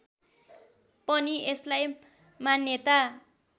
पनि यसलाई मान्यता